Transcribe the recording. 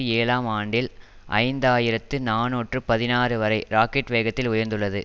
ஏழாம் ஆண்டில் ஐந்து ஆயிரத்தி நாநூற்று பதினாறு வரை ராக்கட் வேகத்தில் உயர்ந்துள்ளது